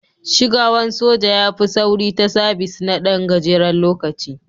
Shigawan soja ya fi sauri ta sabis na Dan gajeren lokaci.